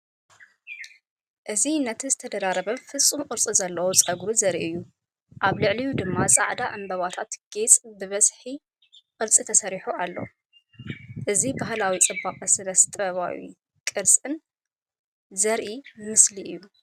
እዚ ነቲ ዝተደራረበን ፍጹም ቅርጺ ዘለዎን ጸጉሪ ዘርኢ እዩ። ኣብ ልዕሊኡ ድማ ጻዕዳ ዕምባባታት ጌጽ ብሰሓቢ ቅርጺ ተሰሪዑ ኣሎ። እዚ ባህላዊ ጽባቐን ስነ-ጥበባዊ ቅርጽን ዘርኢ ምስሊ እዩ።